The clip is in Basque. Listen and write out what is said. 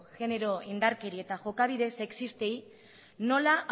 genero indarkeri eta jokabide sexistei nola